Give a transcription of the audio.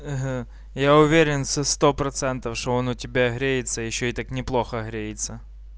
ага я уверен со сто процентов что он у тебя греется ещё и так неплохо греется